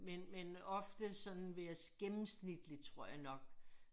Men men ofte sådan ved jeg gennemsnitligt tror jeg nok